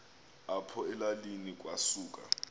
apho elalini kwasuka